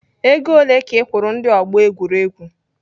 Ego ole ka ị kwụrụ ndi ọgbọ egwuregwu?